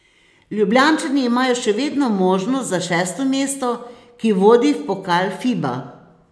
Ljubljančani imajo še vedno možnosti za šesto mesto, ki vodi v Pokal Fiba.